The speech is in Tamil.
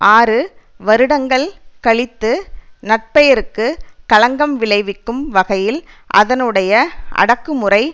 ஆறு வருடங்கள் கழித்து நற்பெயருக்கு களங்கம் விளைவிக்கும் வகையில் அதனுடைய அடக்குமுறை